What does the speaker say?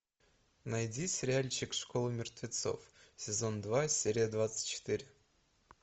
найди сериальчик школа мертвецов сезон два серия двадцать четыре